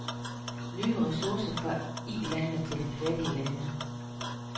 Nye ressourcer fra Ilandene til de fattige lande.